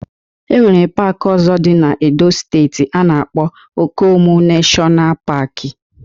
E nwere paaki ọzọ dị na Edo steeti a na-akpọ Okomu Neshọna Paaki